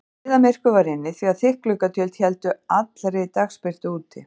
Niðamyrkur var inni því að þykk gluggatjöld héldu allri dagsbirtu úti.